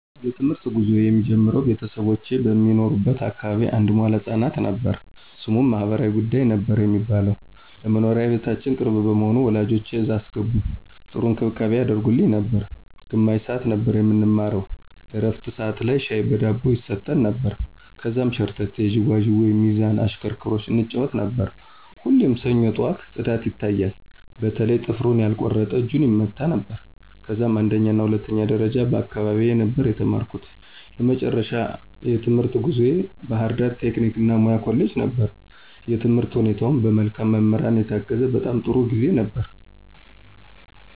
የ ትምህርት ጉዞየ የሚጀምረው ቤተሰቦቼ በሚኖሩበት አካባቢ አንድ መዋለ ህፃናት ነበር። ስሙም ማህበራዊ ጉዳይ ነበር የሚባለው። ለ መኖሪያ ቤታችን ቅርብ በመሆኑ ወላጆቼ እዛ አስገቡኝ .ጥሩ እንክብካቤ ያደርጉልን ነበር። ግማሽ ሰዓት ነበር የምንማረው የ ዕረፍት ሠዓት ላይ ሻይ በ ዳቦ ይሰጠን ነበር። ከዛም ሸርተቴ, ዥዋዥዌ, ሚዛን ,እሽክርክሮሽ እንጫወት ነበር። ሁሌም ሰኞ ጠዋት ፅዳት ይታያል በተለይ ጥፍሩን ያልቆረጠ እጁን ይመታ ነበረ። ከዛም አንደኛና ሁለተኛ ደረጃም በ አካባቢየ ነበር የተማርኩ። የመጨረሻው የትምህርት ጉዞየ ባ ህርዳር ቴክኒክ እና ሙያ ኮሌጅ ነበር። የትምህርት ሁኔታውም በ መልካም መምህራን የታገዘ በጣም ጥሩ ጊዜ ነበር።